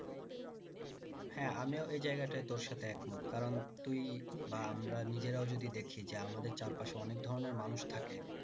হ্যাঁ আমিও এই জায়গাটায় তোর সাথে এক মত কারণ তুই বা আমরা নিজেরাও যদি দেখি যে আমাদের চারপাশে অনেক ধরণের মানুষ থাকে